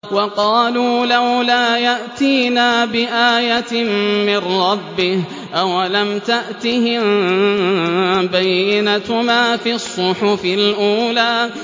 وَقَالُوا لَوْلَا يَأْتِينَا بِآيَةٍ مِّن رَّبِّهِ ۚ أَوَلَمْ تَأْتِهِم بَيِّنَةُ مَا فِي الصُّحُفِ الْأُولَىٰ